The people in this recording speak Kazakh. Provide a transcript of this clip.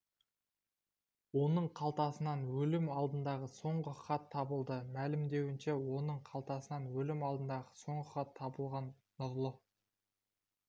оның қалтасынан өлім алдындағы соңғы хаты табылды мәлімдеуінше оның қалтасынан өлім алдындағы соңғы хаты табылған нұрлы